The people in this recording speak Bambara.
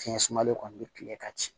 Fiɲɛ sumalen kɔni bɛ tile ka ci